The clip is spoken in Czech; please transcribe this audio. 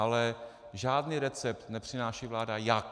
Ale žádný recept nepřináší vláda - jak.